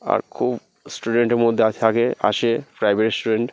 আর খুব স্টুডেন্ট -এর মধ্যে আ থাকে আসে প্রাইভেট স্টুডেন্ট ।